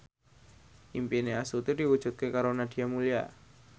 impine Astuti diwujudke karo Nadia Mulya